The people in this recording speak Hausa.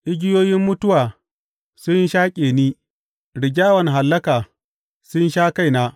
Igiyoyin mutuwa sun shaƙe ni; rigyawan hallaka sun sha kaina.